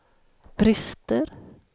brister